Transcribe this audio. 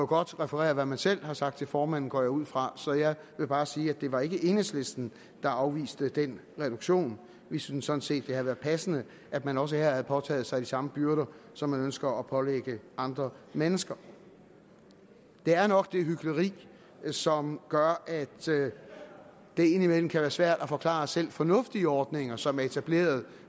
godt referere hvad man selv har sagt til formanden går jeg ud fra så jeg vil bare sige at det ikke var enhedslisten der afviste den reduktion vi synes sådan set det havde været passende at man også her havde påtaget sig de samme byrder som man ønsker at pålægge andre mennesker det er nok det hykleri som gør at det indimellem kan være svært at forklare selv fornuftige ordninger som er etableret